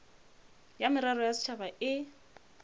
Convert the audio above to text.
ya merero ya setšhaba e